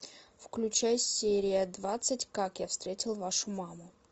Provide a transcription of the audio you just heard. включай серия двадцать как я встретил вашу маму